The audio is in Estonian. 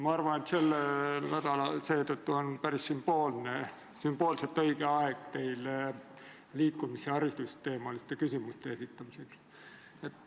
Ma arvan, et sellel nädalal on sümboolselt õige aeg teile liikumishariduse teemal küsimuste esitamiseks.